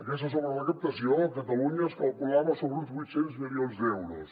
aquesta sobrerecaptació a catalunya es calculava sobre uns vuit cents milions d’euros